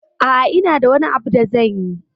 A'a, ina da wani abu da zanyi.